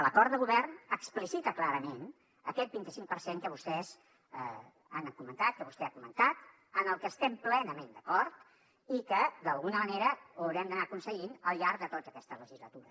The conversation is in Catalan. l’acord de govern explicita clarament aquest vint cinc per cent que vostès han comentat que vostè ha comentat amb el que estem plenament d’acord i que d’alguna manera ho haurem d’anar aconseguint al llarg de tota aquesta legislatura